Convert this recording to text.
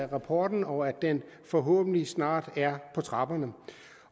rapporten og at den forhåbentlig snart er på trapperne